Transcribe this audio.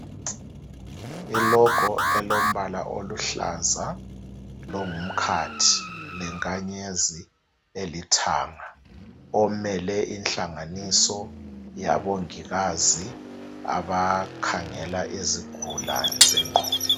I log elombala oluhlaza longumkhathi lenkanyezi elithanga omele inhlanganiso yabongikazi abakhangela izigulane zengqondo.